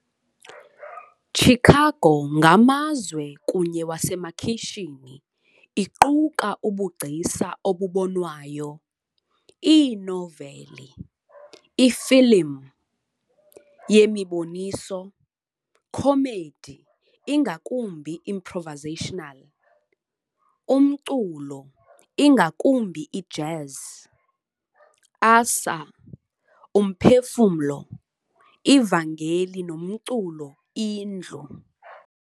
Chicago ngamazwe kunye wasemakhiyshini iquka ubugcisa obubonwayo, iinoveli, ifilim, yemiboniso, comedy ingakumbi improvisational, umculo, ingakumbi ijazz, asa, umphefumlo, ivangeli nomculo indlu.